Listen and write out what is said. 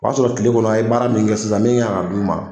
O y'a sɔrɔ kile kɔnɔ a ye baara min kɛ sisan ne y'a d' u ma.